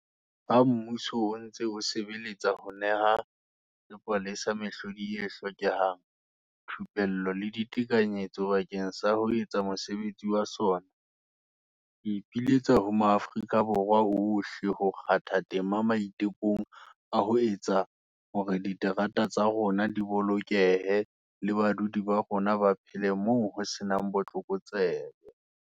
Ha mmuso o ntse o sebeletsa ho neha sepolesa mehlodi e hlokehang, thupello le ditekanyetso bakeng sa ho etsa mosebetsi wa sona, Ke ipiletsa ho maAfrika Borwa ohle ho kgatha tema maitekong a ho etsa hore diterata tsa rona di bolokehe le badudi ba rona ba phele moo ho se nang botlokotsebe.